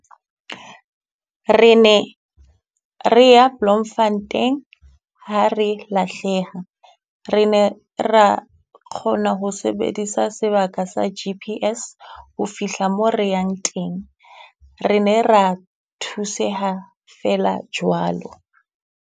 Re ne re ya Bloemfontein ha re lahleha, re ne ra kgona ho sebedisa sebaka sa G_P_S ho fihla mo re yang teng. Re ne ra thuseha feela jwalo.